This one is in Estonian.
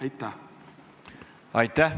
Aitäh!